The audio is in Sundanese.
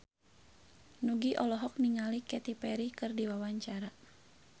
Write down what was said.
Nugie olohok ningali Katy Perry keur diwawancara